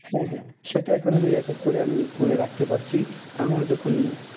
হ্যাঁ হ্যাঁ সেটা এখন আমি record করে আমি phone এ রাখতে পারছি। আমার যখন